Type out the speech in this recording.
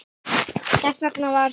Þess vegna var